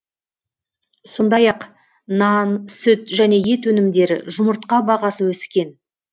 сондай ақ нан сүт және ет өнімдері жұмыртқа бағасы өскен